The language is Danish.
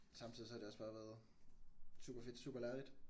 Samtidig så har det også bare været super fedt super lærerigt